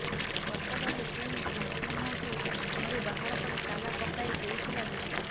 ଗତକାଲି ପୁଣି କୁସୁମଙ୍କୁ ଘରୁ ବାହାର କରି ତାଲା ପକାଇ ଦେଇଥିଲା ଗୀତା